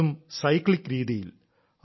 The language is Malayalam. അതും സൈക്ലിക് രീതിയിൽ